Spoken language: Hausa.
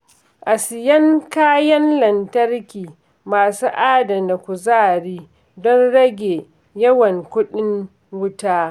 A siyan kayan lantarki masu adana kuzari don rage yawan kuɗin wuta.